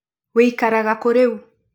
Wikaraga kũ rĩu?